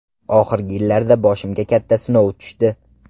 Oxirgi yillarda boshimga katta sinov tushdi.